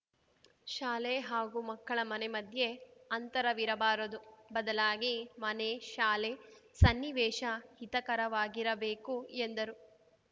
ಶಾಲೆ ಹಾಗೂ ಮಕ್ಕಳ ಮನೆ ಮಧ್ಯೆ ಅಂತರವಿರಬಾರದು ಬದಲಾಗಿ ಮನೆ ಶಾಲೆ ಸನ್ನಿವೇಶ ಹಿತಕರವಾಗಿರಬೇಕು ಎಂದರು